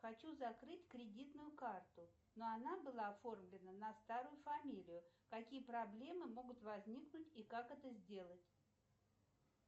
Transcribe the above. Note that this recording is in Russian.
хочу закрыть кредитную карту но она была оформлена на старую фамилию какие проблемы могут возникнуть и как это сделать